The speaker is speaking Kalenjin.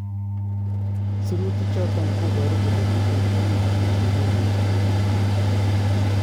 "Sirutiik choton koboru kole chuton komiten kwenut nywan